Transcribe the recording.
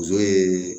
Muso ye